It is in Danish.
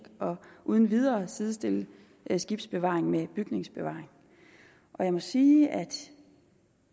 og uden videre sidestille skibsbevaring med bygningsbevaring jeg må sige at